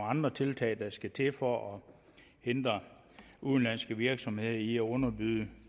andre tiltag der skal til for at hindre udenlandske virksomheder i at underbyde